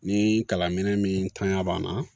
Ni kalan minɛn min taɲa b'an na